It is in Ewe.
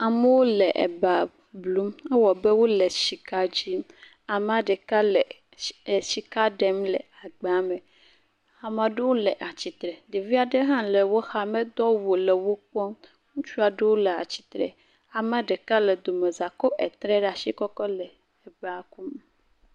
Amewo eba blum, ewɔ abe wole sika dim, amea ɖeka le sika ɖem le agba me, ame ɖewo atsitre, ɖevi aɖewo hã le wo xa, medo awu o, le wo kpɔm, ŋutsu aɖewo le atsitre, amea ɖeka le domeza kɔ tre ɖe asi kɔ kɔ le eba kum.